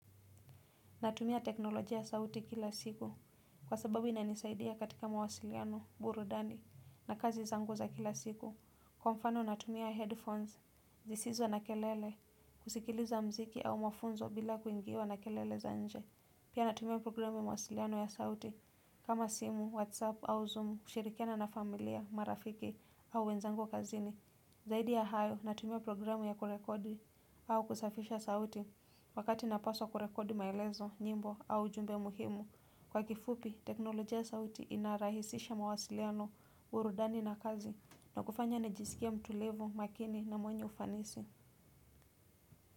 Natumia teknolojia ya sauti kila siku kwa sababu inanisaidia katika mawasiliano burudani na kazi zangu za kila siku. Kwa mfano natumia headphones, zisizo na kelele, kusikiliza mziki au mafunzo bila kuingiwa na kelele za nje. Pia natumia programu ya mawasiliano ya sauti kama simu, whatsapp au zoom, kushirikiana na familia, marafiki au wenzangu kazini. Zaidi ya hayo natumia programu ya kurekodi au kusafisha sauti wakati napaswa kurekodi maelezo, nyimbo au ujumbe muhimu. Kwa kifupi, teknolojia ya sauti inarahisisha mawasiliano, burudani na kazi na kufanya nijisikie mtulivu makini na mwenye ufanisi.